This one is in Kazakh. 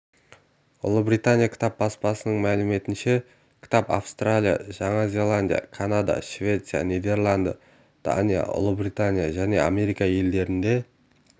ұлыбритания кітап баспасының мәліметінше кітап австралия жаңа зеландия канада швеция нидерланды дания ұлыбритания және америка елдерінде